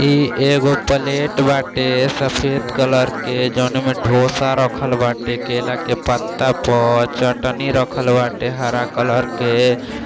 इ एगो प्लेट बाटे सफेद कलर के जौना में डोसा रखल बाटे केले के पत्ता पर चटनी रखल बाटे हरा कलर के--